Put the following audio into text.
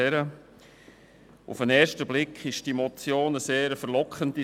Auf den ersten Blick ist die Forderung der Motion verlockend.